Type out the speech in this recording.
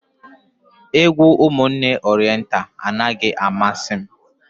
Egwu Ụmụnne Orenta anaghị amasị m.